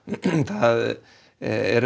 það er